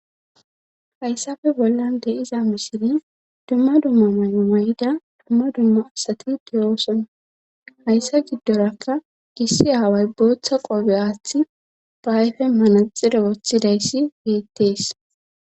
hayssafe bollan de'iza misiri dumma dumma mayo mayida dumma dumma asati diyooson hayssa giddorakka gissi aaway bootha qobe aaththi ba ayfe manaxire woththidayssi beettees